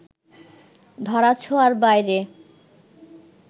ধরা-ছোঁয়ার বাইরে